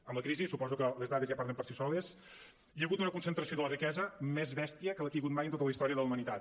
amb la crisi suposo que les dades ja parlen per si soles hi ha hagut una concentració de la riquesa més bèstia que la que hi ha hagut mai en tota la història de la humanitat